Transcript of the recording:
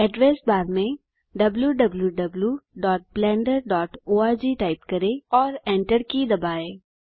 address bar में wwwblenderorg type करें और Enter की दबाएँ